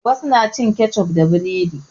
Wasu na cin kecof da buredi.